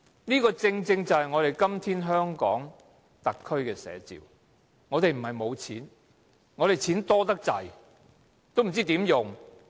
這正正是今天香港特區的寫照，我們不是沒有錢，我們的錢太多，不知怎樣花。